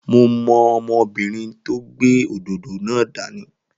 Mo mọ ọmọbìnrin tó gbé òdòdó dání